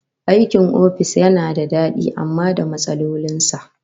Aikin ofis yana da dadi amma da matsalolin sa